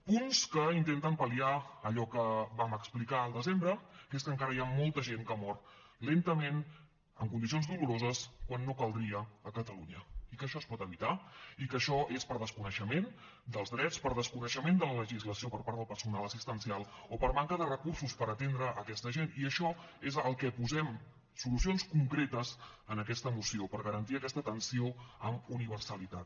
punts que intenten pal·liar allò que vam explicar al desembre que és que encara hi ha molta gent que mor lentament en condicions doloroses quan no caldria a catalunya i que això es pot evitar i que això és per desconeixement dels drets per desconeixement de la legislació per part del personal assistencial o per manca de recursos per atendre aquesta gent i a això és al que posem solucions concretes en aquesta moció per garantir aquesta atenció amb universalitat